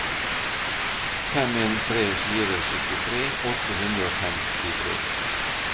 fem en tre fire syttitre åtte hundre og femtitre